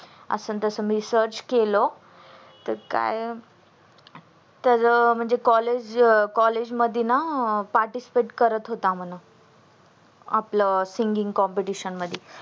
आस तस मी search केल तर काय तर म्हणजे college college मध्ये ना participate करत होता म्हणा आपल singing competition मधी